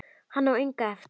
Hann á enga eftir.